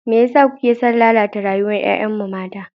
Me yasa kuke son lalata rayuwar 'ya'yanmu mata?